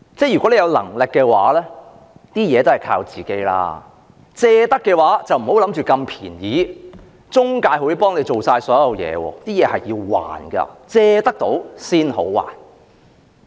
如果你有能力，還是靠自己較好；如果要借款，便別妄想那麼便宜，中介會代你做所有事，這是要償還的，正所謂"還得到先好借"。